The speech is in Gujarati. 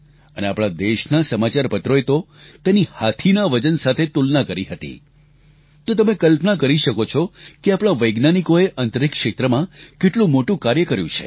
અને આપણાં દેશનાં સમાચારપત્રોએ તો તેની હાથીના વજન સાથે તુલના કરી હતી તો તમે કલ્પના કરી શકો છો કે આપણાં વૈજ્ઞાનિકો અંતરિક્ષ ક્ષેત્રમાં કેટલું મોટું કાર્ય કર્યું છે